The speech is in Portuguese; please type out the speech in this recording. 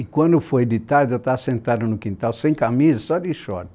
E quando foi de tarde, eu tava sentado no quintal, sem camisa, só de short.